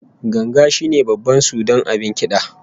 Ganga shine babban sudan abin kida